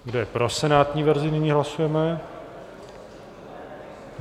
Kdo je pro senátní verzi nyní hlasujeme.